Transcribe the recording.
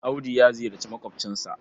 Audu ya ziyarci maƙwabcinsa.